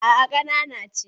A'a ƙanana ce.